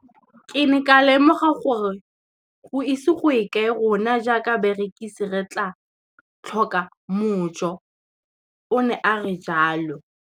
Ke ne ka lemoga gore go ise go ye kae rona jaaka barekise re tla tlhoka mojo, o ne a re jalo.